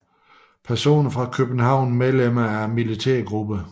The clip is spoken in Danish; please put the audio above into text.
Personer fra København Medlemmer af militærgrupper